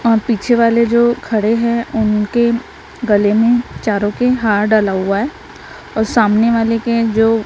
और पीछे वाले जो खड़े है उनके गले में चारों के हार डाला हुआ है और सामने वाले के जो--